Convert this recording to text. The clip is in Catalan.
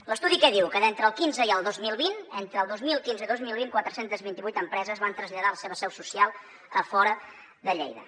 l’estudi què diu que d’entre el quinze i el dos mil vint entre el dos mil quinze i el dos mil vint quatre cents i vint vuit empreses van traslladar la seva seu social a fora de lleida